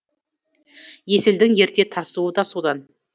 есілдің ерте тасуы да содан